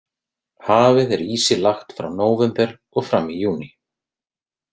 Hafið er ísi lagt frá nóvember og fram í júní.